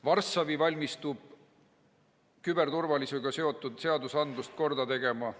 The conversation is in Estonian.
Varssavi valmistub küberturvalisusega seotud seadusi korda tegema.